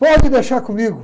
Pode deixar comigo?